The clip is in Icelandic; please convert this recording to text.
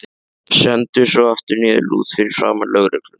Stendur svo aftur niðurlút fyrir framan lögregluna.